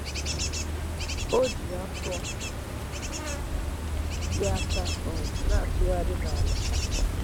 O ji afọ ya aka um na-atụrụgharị n’ala.